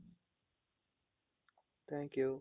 thank you